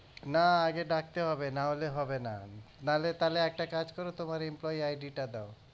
না আগে ডাকতে হবে নাহলে হবেনা নাহলে তাহলে একটা কাজ করো করো তোমার employeeID টা দাও